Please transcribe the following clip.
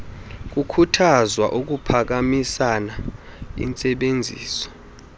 kukhuthazwa ukuphakamisa intsebenziso